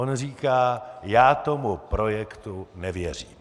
On říká: já tomu projektu nevěřím.